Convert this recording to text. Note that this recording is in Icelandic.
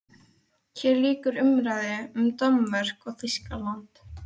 HÉR LÝKUR UMRÆÐU UM DANMÖRKU OG ÞÝSKALAND